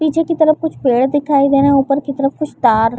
पीछे की तरफ कुछ पेड़ दिखाई दे रहे है ऊपर की तरफ कुछ तार--